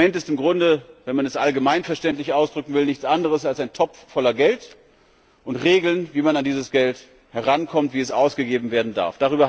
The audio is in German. Ein Instrument ist im Grunde wenn man es allgemeinverständlich ausdrücken will nichts anderes als ein Topf voller Geld und Regeln, wie man an dieses Geld herankommt, wie es ausgegeben werden darf.